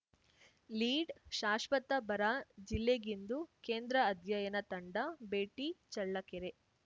ಲೀಡ್‌ಶಾಶ್ವತ ಬರ ಜಿಲ್ಲೆಗಿಂದು ಕೇಂದ್ರ ಅಧ್ಯಯನ ತಂಡ ಭೇಟಿ ಚಳ್ಳಕೆರೆ